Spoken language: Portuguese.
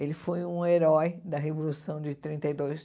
Ele foi um herói da Revolução de trinta e dois.